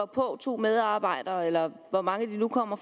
på to medarbejdere fra skat eller hvor mange de nu kommer